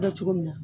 Bɛ kɛ cogo min na